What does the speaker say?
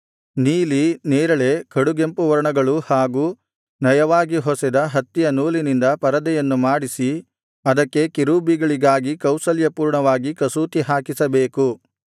ನೀಲಿ ನೆರಳೆ ಕಡುಗೆಂಪು ವರ್ಣಗಳು ಹಾಗೂ ನಯವಾಗಿ ಹೊಸೆದ ಹತ್ತಿಯ ನೂಲಿನಿಂದ ಪರದೆಯನ್ನು ಮಾಡಿಸಿ ಅದಕ್ಕೆ ಕೆರೂಬಿಗಳಿಗಾಗಿ ಕೌಶಲ್ಯಪೂರ್ಣವಾಗಿ ಕಸೂತಿ ಹಾಕಿಸಬೇಕು